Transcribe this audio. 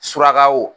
Surakaw